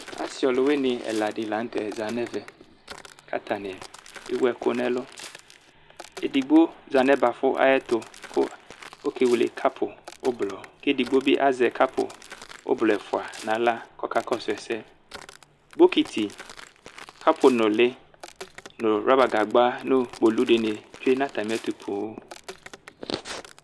Asi ɔlʋwini ɛladini lanʋtɛ za nʋ ɛvɛ kʋ atani aya ɛkʋ nʋ ɛlʋ edigbo zanʋ ɛbafʋ ayʋ ɛtʋ kʋ ɔkewele kapu ʋblɔ kʋ edigbo bi azɛ kapu ʋblɔ ɛfʋa nʋ aɣla kʋ ɔkakɔsʋ ɛsɛ bokiti kapu nʋli nʋ rɔba gagba nʋ kpolu dini tsue nʋ atami ɛtʋ poo